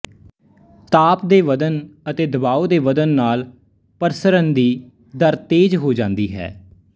ਤਾਪ ਦੇ ਵਧਣ ਅਤੇ ਦਬਾਉ ਦੇ ਵਧਣ ਨਾਲ ਪ੍ਰਸਰਣ ਦੀ ਦਰ ਤੇਜ਼ ਹੋ ਜਾਂਦੀ ਹੈ